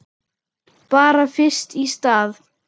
Bara fyrst í stað.